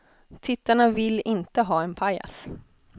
Tittarna vill inte ha en pajas.